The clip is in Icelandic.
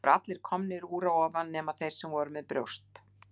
Það voru allir komnir úr að ofan nema þeir sem voru með brjóst.